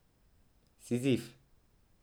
Sizif.